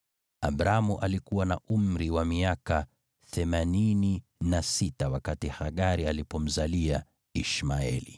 Abramu alikuwa na umri wa miaka themanini na sita wakati Hagari alipomzalia Ishmaeli.